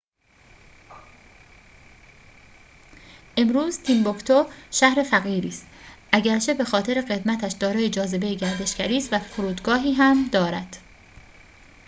امروز تیمبوکتو شهر فقیری است اگرچه بخاطر قدمتش دارای جاذبه گردشگری است و فرودگاهی هم دارد